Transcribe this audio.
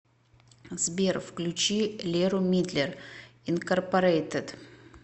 сбер включи леру мидлер инкорпорейтед